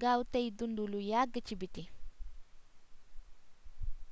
gaawtéy dundu lu yagg ci biti